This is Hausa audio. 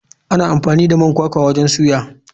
Ana amfani da man kwakwa wajen soya.